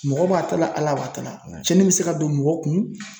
Mɔgɔ b'a ta la Ala b'a ta la, , cɛnni bɛ se ka don mɔgɔ kun ,